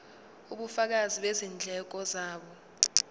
ubufakazi bezindleko zabo